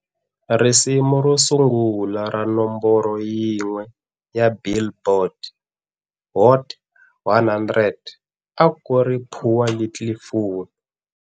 Risimu ro sungula ra nomboro yin'we ya"Billboard" Hot 100 a ku ri" Poor Little Fool"